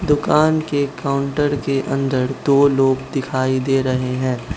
दुकान के काउंटर के अंदर दो लोग दिखाई दे रहे हैं।